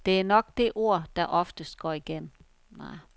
Det er nok det ord, der oftest går igen.